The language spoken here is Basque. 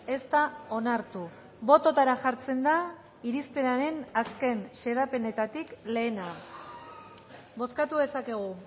ez da onartu bototara jartzen da irizpenaren azken xedapenetatik lehena bozkatu dezakegu